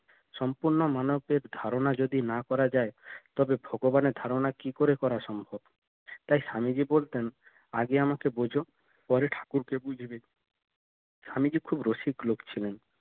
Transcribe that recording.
সম্পূর্ণ মানবের ধারনা যদি না করা যায় তবে ভগবানের ধারনা কি করে করা সম্ভব তাই স্বামীজি বলতেন আগে আমাকে বুঝ পরে ঠাকুর কে বুঝবে স্বামীজি খুব রসিক লোক ছিলেন